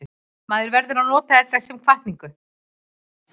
Maður verður að nota þetta sem hvatningu.